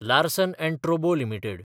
Larsen & Toubro limited